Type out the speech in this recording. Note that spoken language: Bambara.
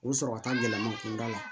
O bɛ sɔrɔ ka taa gɛlɛman kunda la